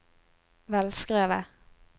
velskrevet